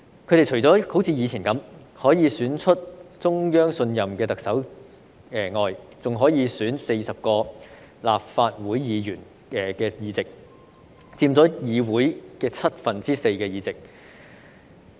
他們除可像以前般，選出中央信任的特首外，還可以選出40個立法會議席，佔議會七分之四議席。